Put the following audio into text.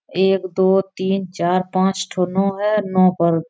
एक दो तीन चार पांच ठो नौ है नौ पर --